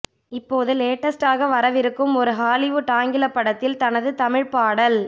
இப்போது லேட்டஸ்ட்டாக வரவிருக்கும் ஒரு ஹாலிவுட் ஆங்கிலப் படத்தில் தனது தமிழ்ப் பாடல்